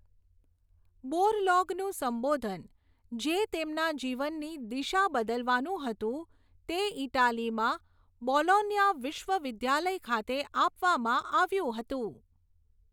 બોરલોગનું સંબોધન, જે તેમના જીવનની દિશા બદલવાનું હતું, તે ઇટાલીમાં બોલોન્યા વિશ્વવિદ્યાલય ખાતે આપવામાં આવ્યું હતું.